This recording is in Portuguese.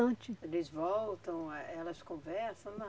Eles voltam, eh elas conversam?